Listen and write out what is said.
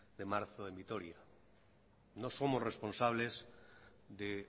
de marzo en vitoria no somos responsables de